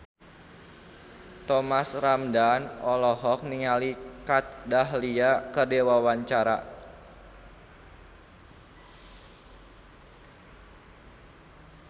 Thomas Ramdhan olohok ningali Kat Dahlia keur diwawancara